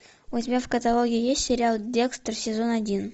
у тебя в каталоге есть сериал декстер сезон один